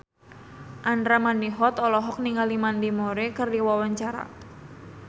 Andra Manihot olohok ningali Mandy Moore keur diwawancara